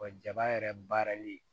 Wa jaba yɛrɛ baarali